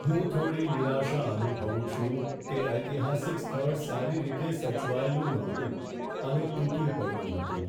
હું થોડી નિરાશા અનુભવું છું કે ઐતિહાસિક સ્થળ સારી રીતે સચવાયેલું ન હતું અને તૂટી પડ્યું હતું.